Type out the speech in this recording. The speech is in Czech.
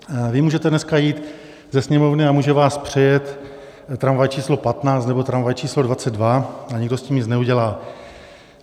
Vy můžete dneska jít ze Sněmovny a může vás přejet tramvaj číslo 15 nebo tramvaj číslo 22 a nikdo s tím nic neudělá.